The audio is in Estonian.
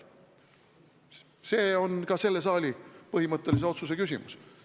See on ka selle saali põhimõttelise otsuse küsimus.